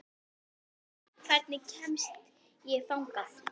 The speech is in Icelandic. Jenni, hvernig kemst ég þangað?